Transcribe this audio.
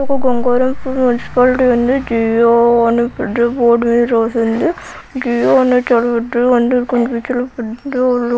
Gangaram Puri municipality ఉంది Jio అని పెద్ద బోర్డు మీద రాసి ఉంది జి _యో అనే చాలా పెద్దగా అందరికన్నా చాలా ఫుచర్ పెద్దోళ్ళు